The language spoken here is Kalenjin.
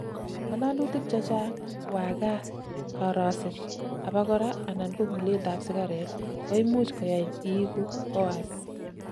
ngalalutik chechang, wagaat, koroset abakora anan kokulet ab sigaret koimuch koyain iigu hoarse